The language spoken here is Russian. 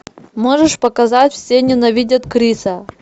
можешь показать все ненавидят криса